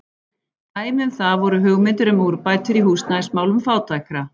Dæmi um það voru hugmyndir um úrbætur í húsnæðismálum fátækra.